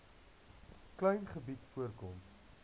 klein gebied voorkom